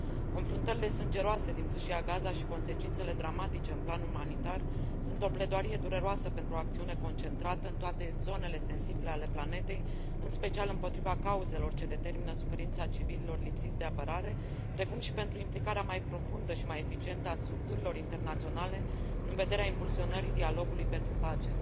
Confruntările sângeroase din Fâșia Gaza și consecințele dramatice în plan umanitar sunt o pledoarie dureroasă pentru o acțiune concentrată în toate zonele sensibile ale planetei, în special împotriva cauzelor ce determină suferința civililor lipsiți de apărare, precum și pentru implicarea mai profundă și mai eficientă a structurilor internaționale în vederea impulsionării dialogului pentru pace.